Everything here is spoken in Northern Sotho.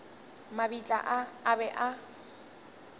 mabitla a a be a